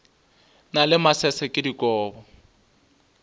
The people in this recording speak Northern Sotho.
na le masese ke dikobo